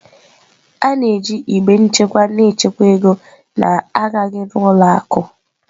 A na-eji igbe nchekwa na-echekwa ego na-agaghị n'ụlọ akụ.